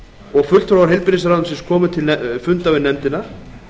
og fulltrúar heilbrigðisráðuneytisins komu til fundar við nefndina